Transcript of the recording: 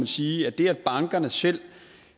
sige at det at bankerne selv